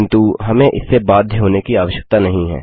किन्तु हमें इससे बाध्य होने की आवश्यकता नहीं है